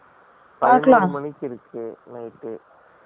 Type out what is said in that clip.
ம்ம், ம்